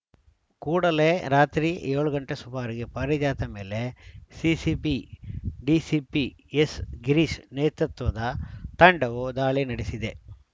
ಕೂಡಲೇ ರಾತ್ರಿ ಏಳು ಗಂಟೆ ಸುಮಾರಿಗೆ ಪಾರಿಜಾತ ಮೇಲೆ ಸಿಸಿಬಿ ಡಿಸಿಪಿ ಎಸ್‌ಗಿರೀಶ್‌ ನೇತೃತ್ವದ ತಂಡವು ದಾಳಿ ನಡೆಸಿದೆ